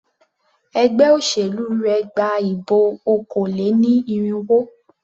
Ẹgbé òṣèlú rẹ gba ìbọ̀ okòó-lé-ní-irínwó.